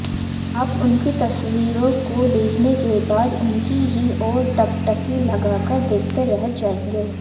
आप उनकी तस्वीरों को देखने के बाद उनकी ही ओर टकटकी लगाकर देखते रह जाएंगे